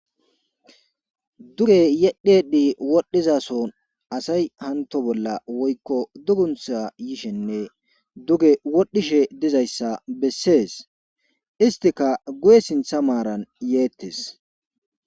duge yedhedi wodhizason asay hanto bolla woykko duguntha yishenne duge wodhishe dizayssa bessees istika guye sintha maaran yeettes